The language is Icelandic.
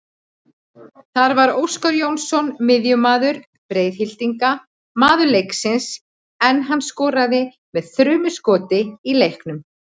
Þar var Óskar Jónsson miðjumaður Breiðhyltinga maður leiksins en hann skoraði með þrumuskoti í leiknum.